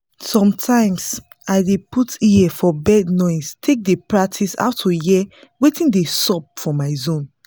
sometimes i dey put ear for bird noise take dey practice how to hear watin dey sup for my zone